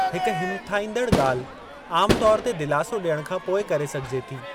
हिक हिमथाईंदड़ ॻाल्हि आम तौरु ते दिलासो ॾियणु खां पोइ करे सघिजे थी।